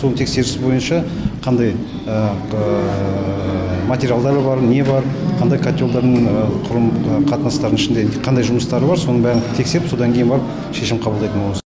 сол тексеріс бойынша қандай материалдары бар не бар қандай котелдардың құрылым қатынастардың ішінде қандай жұмыстары бар соның бәрін тексеріп содан кейін барып шешім қабылдайтын боламыз